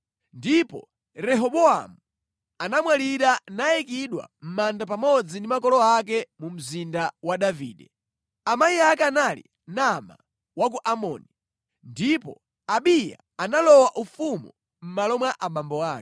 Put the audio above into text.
Ndipo Rehobowamu anamwalira nayikidwa mʼmanda pamodzi ndi makolo ake mu mzinda wa Davide. Amayi ake anali Naama wa ku Amoni. Ndipo Abiya analowa ufumu mʼmalo mwa abambo ake.